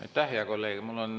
Aitäh, hea kolleeg!